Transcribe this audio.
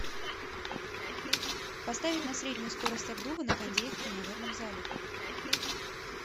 поставить на среднюю скорость обдува на кондее в тренажерном зале